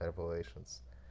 эйпэлэйшенс